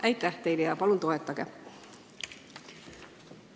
Aitäh teile ja palun toetage eelnõu!